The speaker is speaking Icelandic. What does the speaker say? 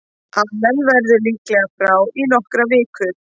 Allen verður líklega frá í nokkrar vikur.